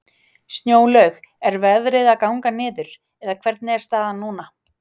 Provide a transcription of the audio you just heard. Snjólaug, er veðrið að ganga niður, eða hvernig er staðan núna?